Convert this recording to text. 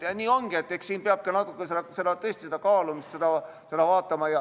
Eks siin peab ka natuke tõesti seda kaaluma, seda vaatama.